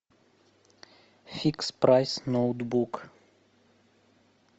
фикс прайс ноутбук